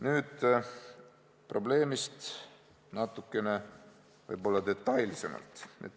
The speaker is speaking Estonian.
Nüüd probleemist natukene detailsemalt.